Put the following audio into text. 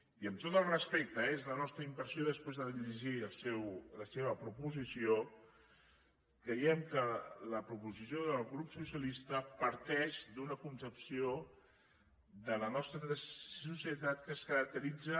i amb tot el respecte eh és la nostra impressió després de llegir la seva proposició creiem que la proposició del grup socialista parteix d’una concepció de la nostra societat que es caracteritza